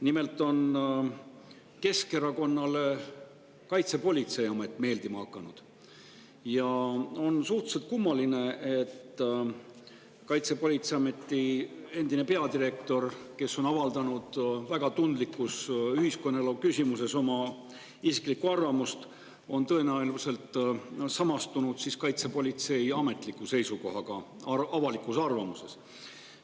Nimelt on Keskerakonnale Kaitsepolitseiamet meeldima hakanud ja on suhteliselt kummaline, et Kaitsepolitseiameti endine peadirektor, kes on avaldanud väga tundlikus ühiskonnaelu küsimuses oma isiklikku arvamust, on tõenäoliselt samastunud kaitsepolitsei ametliku seisukohaga avalikus arvamuses.